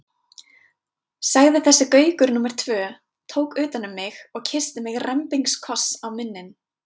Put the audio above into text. sagði þessi Gaukur númer tvö, tók utan um mig og kyssti mig rembingskoss á munninn.